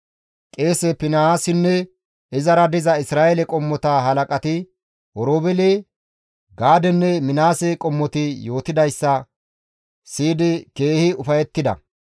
Qeese Finihaasinne izara diza Isra7eele qommota halaqati, Oroobeele, Gaadenne Minaase qommoti yootidayssa siyidi, keehi ufayettida.